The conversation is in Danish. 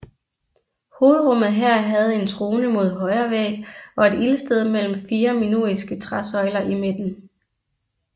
Hovedrummet her havde en trone mod højre væg og et ildsted mellem fire minoiske træsøjler i midten